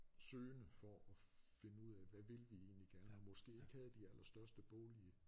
Søgende for at finde ud af hvad vil vi egentlig gerne og måske ikke havde de aller største boglige